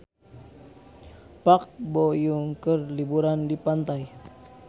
Park Bo Yung keur liburan di pantai